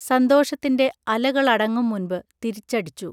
സന്തോഷത്തിന്റെ അലകളടങ്ങും മുൻപ് തിരിച്ചടിച്ചു